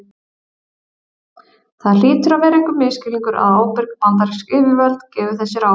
það hlýtur að vera einhver misskilningur að ábyrg bandarísk yfirvöld gefi þessi ráð